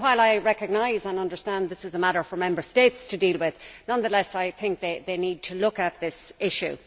While I recognise and understand that this is a matter for Member States to deal with, I nonetheless think they need to look at this issue.